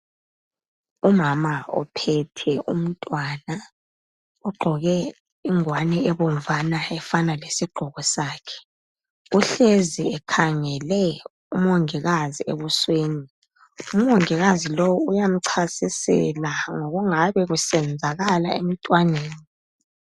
Umama ophethe umntwana ugqoke ingwani ebomvana efana lesigqoko sakhe. Uhlezi ekhangele umongikazi ebusweni. Umongikazi lowo uyamchasisela ngokungabe kusenzakala emntwaneni.